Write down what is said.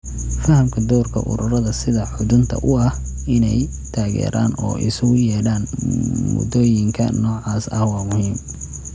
Fahamka doorka ururada sida xudunta u ah inay taageeraan oo isugu yeedhaan moodooyinka noocaas ah waa muhiim.